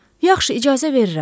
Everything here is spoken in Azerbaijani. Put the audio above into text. Yaxşı, icazə verirəm.